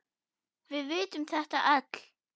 Við vitum þetta öll.